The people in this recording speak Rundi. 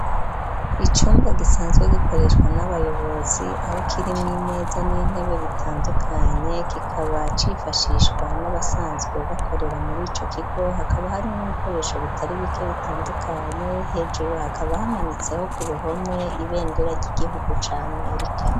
Icumba gisanzwe gikoreshwa n'abayobozi aho kirimwo imeza n'intebe bitandukanye kikaba cifashishwa n'abasanzwe bakorera muri ico kigo hakaba harimwo ibikoresho bitari bike bitandukanye hejuru hakaba hamanitseho ku ruhome ibendera ry'igihugu ca amerika.